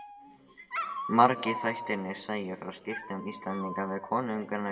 Margir þættirnir segja frá skiptum Íslendinga við konunga í Noregi.